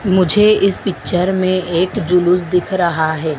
मुझे इस पिक्चर में एक जुलूस दिख रहा हैं।